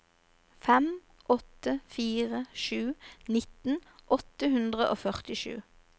fem åtte fire sju nitten åtte hundre og førtisju